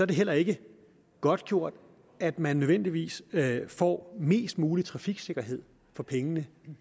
det heller ikke godtgjort at man nødvendigvis får mest mulig trafiksikkerhed for pengene